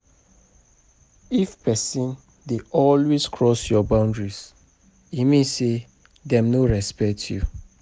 If um pesin dey always cross your boundary, e mean say dem no respect you.